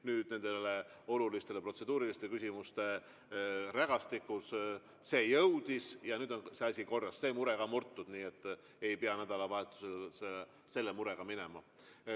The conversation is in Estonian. Nüüd nende oluliste protseduuriliste küsimuste rägastikus see jõudis ja nüüd on see asi korras, see mure ka murtud, nii et ei pea nädalavahetusele selle murega minema.